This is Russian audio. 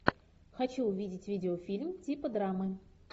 хочу увидеть видеофильм типа драмы